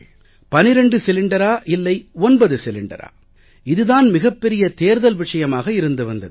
12 சிலிண்டரா இல்லை 9 சிலிண்டரா இது தான் மிகப் பெரிய தேர்தல் விஷயமாக இருந்து வந்தது